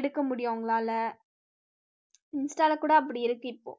எடுக்க முடியும் உங்களால insta ல கூட அப்படி இருக்கு இப்போ